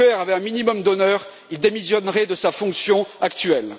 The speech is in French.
Juncker avait un minimum d'honneur, il démissionnerait de sa fonction actuelle.